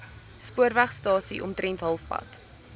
spoorwegstasie omtrent halfpad